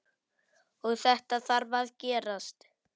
Og þetta þarf að gerast.